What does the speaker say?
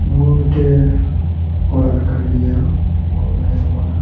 ᱱᱚᱣᱟ ᱢᱤᱴᱮᱡ ᱳᱱᱟᱜ ᱠᱟᱱ ᱜᱤᱭᱟ --